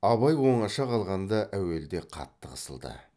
абай оңаша қалғанда әуелде қатты қысылды